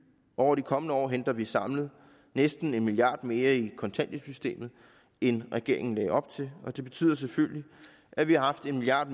over de kommende år henter vi samlet næsten en milliard kroner mere i kontanthjælpssystemet end regeringen lagde op til og det betyder selvfølgelig at vi har haft en milliard